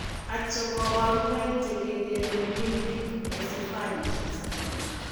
Achon kaborunoik chekekereen limbic encephalitis